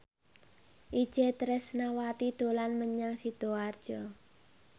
Itje Tresnawati dolan menyang Sidoarjo